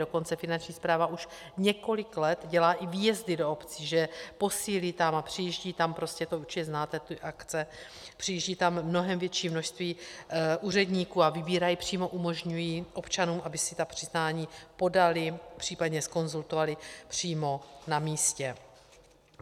Dokonce Finanční správa už několik let dělá i výjezdy do obcí, že posílí tam a přijíždí tam, prostě to určitě znáte ty akce, přijíždí tam mnohem větší množství úředníků a vybírají přímo, umožňují občanům, aby si ta přiznání podali, případně zkonzultovali přímo na místě.